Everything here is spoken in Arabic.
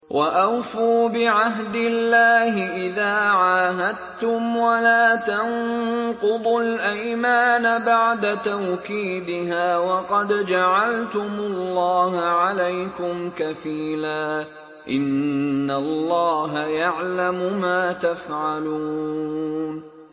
وَأَوْفُوا بِعَهْدِ اللَّهِ إِذَا عَاهَدتُّمْ وَلَا تَنقُضُوا الْأَيْمَانَ بَعْدَ تَوْكِيدِهَا وَقَدْ جَعَلْتُمُ اللَّهَ عَلَيْكُمْ كَفِيلًا ۚ إِنَّ اللَّهَ يَعْلَمُ مَا تَفْعَلُونَ